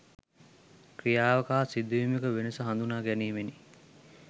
ක්‍රියාවක හා සිදුවීමක වෙනස හඳුනා ගැනීමෙනි.